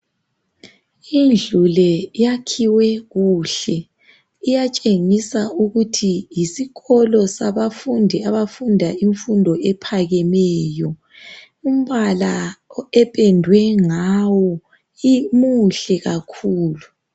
Indlu le iyakhiwe kuhle, iyatshengisa ukuthi yisikolo sabafundi abafunda imfundo ephakemeyo. Umbala ependwe ngawo muhle kakhulu.